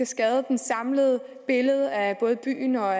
skade det samlede billede af både byen og